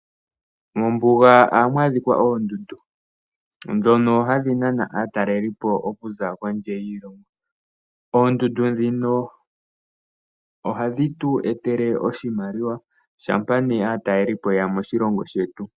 Mombuga ohamu adhika oondundu ndhono hadhi nana aatalelipo okuza kondje yiilongo. Oondundu ndhino ohadhi tu etele oshimaliwa shampa aatalelipo yeya moshilongo shetu.